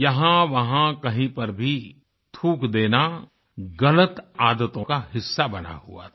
यहाँवहाँ कहीं पर भी थूक देना गलत आदतों का हिस्सा बना हुआ था